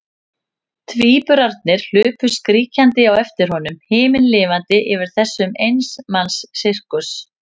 Tvíburarnir hlupu skríkjandi á eftir honum, himinlifandi yfir þessum eins manns sirkus.